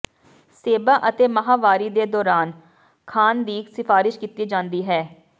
ਸੇਬਾਂ ਅਤੇ ਮਾਹਵਾਰੀ ਦੇ ਦੌਰਾਨ ਖਾਣ ਦੀ ਸਿਫਾਰਸ਼ ਕੀਤੀ ਜਾਂਦੀ ਹੈ